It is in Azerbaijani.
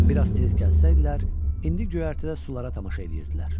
Bir az tez gəlsəydilər, indi göyərtədə sulara tamaşa eləyirdilər.